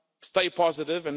Stay positive.